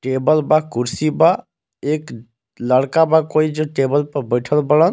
Table बा कुर्सी बा एक लड़का बा कोई जो टेबल पर बइठल बाड़न।